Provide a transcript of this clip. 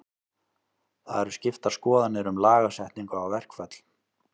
Það eru skiptar skoðanir um lagasetningu á verkföll.